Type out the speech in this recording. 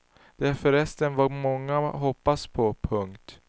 Det är förresten vad ganska många hoppas på. punkt